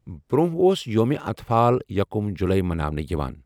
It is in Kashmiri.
برونہہ اوس یومہِ اطفال یكٗم جٗلایہ مناونہٕ یوان ۔